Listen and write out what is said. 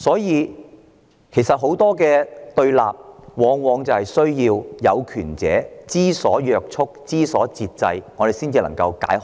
因此，解決對立往往需要當權者知所約束、知所節制，這樣死結才能解開。